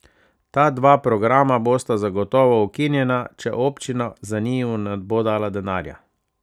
Ta dva programa bosta zagotovo ukinjena, če občina za njiju ne bo dala denarja.